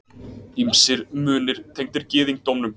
Ýmsir munir tengdir gyðingdómnum.